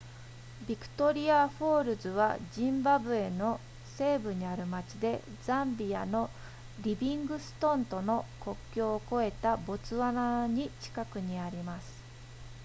ビクトリアフォールズはジンバブエの西部にある町でザンビアのリビングストンとの国境を越えたボツワナに近くにあります